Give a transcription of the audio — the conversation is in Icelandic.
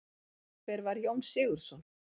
Hver var Jón Sigurðsson?